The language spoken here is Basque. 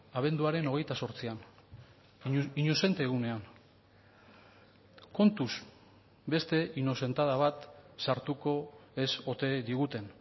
abenduaren hogeita zortzian inozente egunean kontuz beste inozentada bat sartuko ez ote diguten